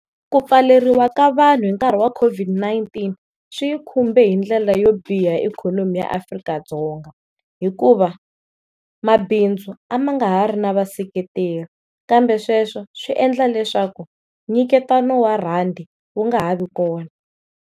Ku pfaleriwa ka vanhu hi nkarhi wa COVID-19 swi yi khumbe hi ndlela yo biha ikhonomi ya Afrika-Dzonga, hikuva mabindzu a ma nga ha ri na vaseketeri kambe sweswo swi endla leswaku nyiketano wa rhandi wu nga ha vi kona.